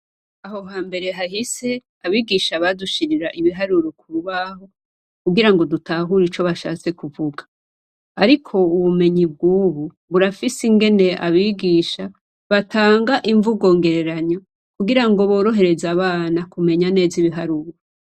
Aho hambere hahise abigisha badushirira ibiharuro kurubaho kugira ngo dutahure ico bashatse kuvuga ariko ubumenyi bwubu burafise ingene abigisha batanga imvugo ngereranyo kugira ngo borohereze abana kumenya neza ibiharuro.